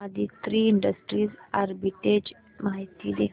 Aditri industries arbitrage माहिती दे